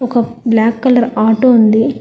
ఒక black colour auto ఉంది.